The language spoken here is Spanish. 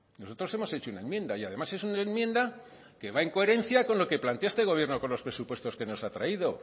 nosotros hemos hecho una enmienda y además es una enmienda que va en coherencia con lo que plantea este gobierno con los presupuestos que nos ha traído